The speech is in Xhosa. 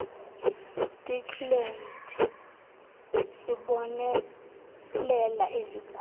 stikland sibonelela izigulane